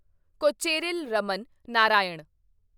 Kocheril Raman Narayan